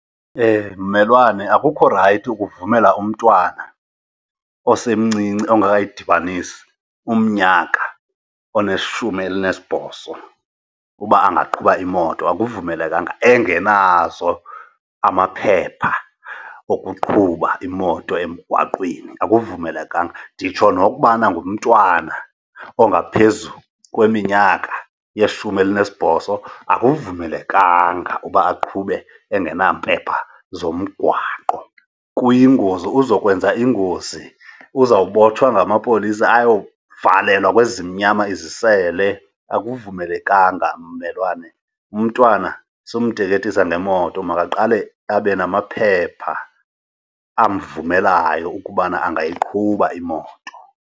Mmelwane akukho rayithi ukuvumela umntwana osemncinci ongekayidibanisi umnyaka oneshumi elinesibhozo uba angaqhuba imoto. Akuvumelekanga engenazo amaphepha okuqhuba imoto emgwaqweni, akuvumelekanga. Nditsho nokubana ngumntwana ongaphezu kweminyaka yeshumi elinesibhozo, akuvumelekanga uba aqhube engenampepha zomgwaqo, kuyingozi. Uzokwenza ingozi uzawubotshwa ngamapolisa ayovalelwa kwezimnyama izisele. Akuvumelekanga mmelwane, umntwana sumteketisa ngemoto, makaqale abe namaphepha amvumelayo ukubana angayiqhuba imoto.